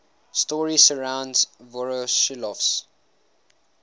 story surrounds voroshilov's